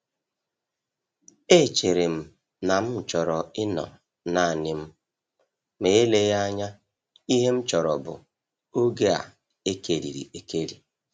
Echere m na m chọrọ ịnọ naanị m, ma eleghị anya ihe m chọrọ bụ oge a ekerịrị ekerị.